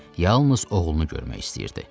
Yalnız oğlunu görmək istəyirdi.